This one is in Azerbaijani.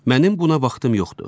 Mənim buna vaxtım yoxdur.